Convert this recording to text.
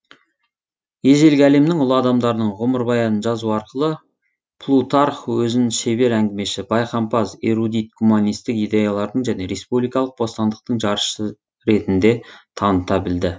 ежелгі әлемнің ұлы адамдарының ғұмырбаянын жазу арқылы плутарх өзін шебер әңгімеші байқампаз эрудит гуманистік идеялардың және республикалық бостандықтың жаршысы ретінде таныта білді